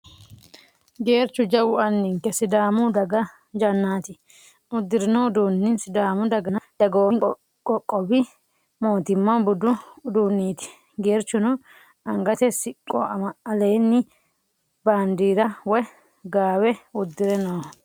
Geerchu jawu anninke sidaamu daga jannaati. Uddirino uduunni sidaamu daganna dagoomi qoqqowi mootimma budu uduunneeti. Geerchuno angate siqqoaleenni handaara woy gaawe uddire nooho.